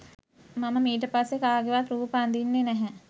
'මම මීට පස්සෙ කාගෙවත් රූප අඳින්නෙ නැහැ.